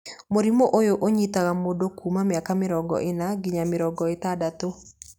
Mũrimũ ũyũ ũnyitaga mũndũ kuma mĩaka mĩrongo ĩna nginya mĩaka mĩrongo ĩtandatũ.